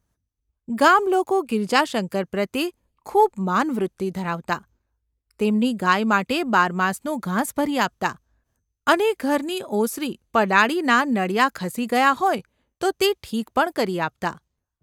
ગામલોકો ગિરજાશંકર પ્રત્યે ખૂબ માનવૃત્તિ ધરાવતા, તેમની ગાય માટે બાર માસનું ઘાસ ભરી આપતા, અને ઘરની ઓસરી પડાળીનાં નળિયાં ખસી ગયાં હોય તો તે ઠીક પણ કરી આપતા.